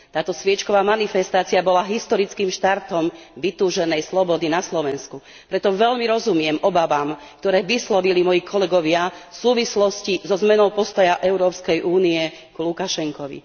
Táto sviečková manifestácia bola historickým štartom vytúženej slobody na Slovensku, preto veľmi rozumiem obavám, ktoré vyslovili moji kolegovia v súvislosti so zmenou postoja Európskej únie k Lukašenkovi.